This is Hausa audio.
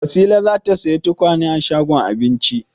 Wasila za ta sayi tukwane a shagon Aminci.